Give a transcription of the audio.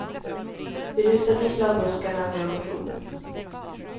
Vi rusade in bland buskarna med vårt rov.